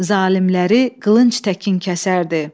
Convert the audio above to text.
Zalimləri qılınc təkin kəsərdi.